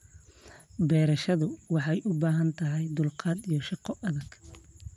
Beerashadu waxay u baahan tahay dulqaad iyo shaqo adag.